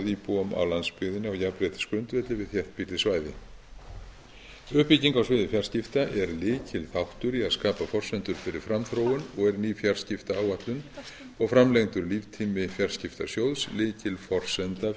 íbúum á landsbyggðinni á jafnréttisgrundvelli við þéttbýlli svæði uppbygging á sviði fjarskipta er lykilþáttur í að skapa forsendur fyrir framþróun og er ný fjarskiptaáætlun og framlengdur líftími fjarskiptasjóðs lykilforsenda